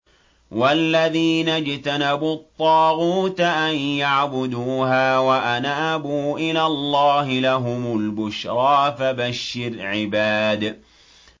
وَالَّذِينَ اجْتَنَبُوا الطَّاغُوتَ أَن يَعْبُدُوهَا وَأَنَابُوا إِلَى اللَّهِ لَهُمُ الْبُشْرَىٰ ۚ فَبَشِّرْ عِبَادِ